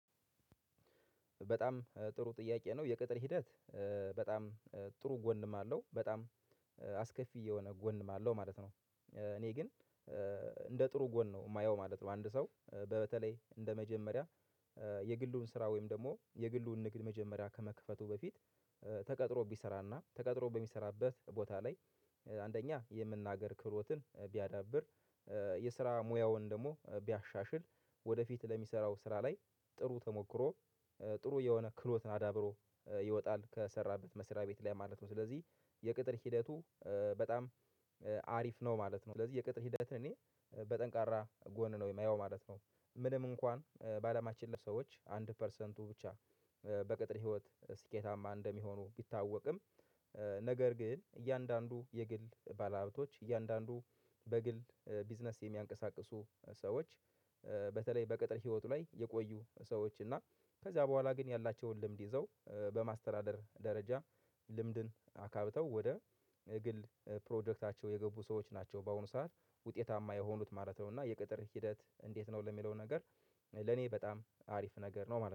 በጣም ጥሩ ጥያቄ ነው። የቅጥር ሂደት በጣም ጥሩ ጎንም አለው። በጣም አስከፊ የሆነ ጎንም አለው ማለት ነው። እኔ ግን እንደ ጥሩ ጎን ነው የማየው ማለት ነው። አንድ ሰው በተለይ እንደመጀመሪያ የግሉን ስራ ወይም ደግሞ የግሉን ንግድ መጀመሪያ ከመክፈቱ በፊት ተቀጥሮ ቢሰራና ተቀጥሮ በሚሰራበት ቦታ ላይ አንደኛ የመናገር ክብሮትን ቢያዳብር የስራ ሙያውን ደግሞ ቢያሻሽል ወደፊት ለሚሰራው ስራ ላይ ጥሩ ተሞክሮ ጥሩ የሆነ ክሎት አዳብሮ ይወጣል ከሰራበት መስሪያ ቤት ላይ ማለት ነው። ስለዚህ የቅጥር ሂደቱ በጣም አሪፍ ነው ማለት ነው። ስለዚህ የቅጥር ሂደትን እኔ በጠንካራ ጎን ነው የማየው ማለት ነው። ምንም እንኳን በአለማችን ያሉ ሰዎች አንድ ፐርሰንቱ ብቻ በቅጥር ህይወት ስኬታማ እንደሚሆኑ ቢታወቅም ነገር ግን እያንዳንዱ የግል ባለሀብቶች እያንዳንዱ በግል ቢዝነስ የሚያንቀሳቅሱ ሰዎች በተለይ በቅጥር ህይወቱ ላይ የቆዩ ሰዎች እና ከዚያ በኋላ ግን ያላቸውን ልምድ ይዘው በማስተዳደር ደረጃ ልምድን አካብተው ወደ ግል ፕሮጀክታቸው የገቡ ሰዎች ናቸው በአሁኑ ሰዓት ውጤታማ የሆኑት ማለት ነው። እና የቅጥር ሂደት እንዴት ነው? ለሚለው ነገር ለኔ በጣም አሪፍ ነገር ነው ማለት ነው።